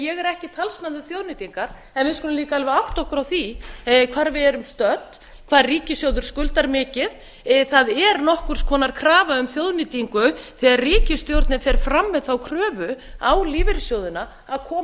ég er ekki talsmaður þjóðnýtingar en við skulum líka alveg átta okkur á því hvar við erum stödd hvað ríkissjóður skuldar mikið það er nokkurs konar krafa um þjóðnýtingu þegar ríkisstjórnin fer fram með þá kröfu á lífeyrissjóðina að koma